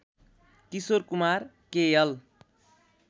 Kishore Kumar KL